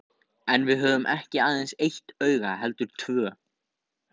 En við höfum ekki aðeins eitt auga heldur tvö.